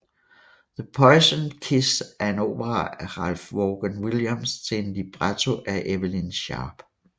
The Poisoned Kiss er en opera af Ralph Vaughan Williams til en libretto af Evelyn Sharp